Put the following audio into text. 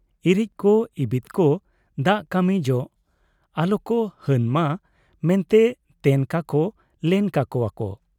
ᱤᱨᱤᱡ ᱠᱚ ᱤᱵᱤᱡ ᱠᱚ ᱫᱟᱜ ᱠᱟᱹᱢᱤ ᱡᱚᱦᱚᱜ ᱟᱞᱚᱠᱚ ᱦᱟᱹᱱ ᱢᱟ ᱢᱮᱱᱛᱮ ᱛᱮᱱ ᱠᱟᱠᱚ ᱞᱮᱱ ᱠᱟᱠᱚᱣᱟ ᱠᱚ ᱾